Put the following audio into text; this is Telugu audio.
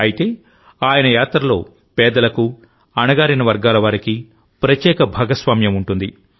అయితే ఆయన యాత్రలో పేదలకు అణగారిన వర్గాల వారికి ప్రత్యేక భాగస్వామ్యం ఉంటుంది